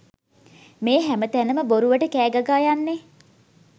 මේ හැම තැනම බොරුවට කෑ ගගා යන්නේ?